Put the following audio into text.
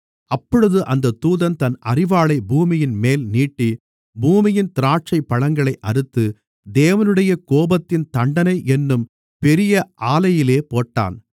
அப்பொழுது அந்தத் தூதன் தன் அரிவாளைப் பூமியின்மேலே நீட்டி பூமியின் திராட்சைப்பழங்களை அறுத்து தேவனுடைய கோபத்தின் தண்டனை என்னும் பெரிய ஆலையிலே போட்டான்